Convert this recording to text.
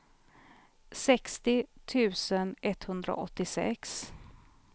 sextio tusen etthundraåttiosex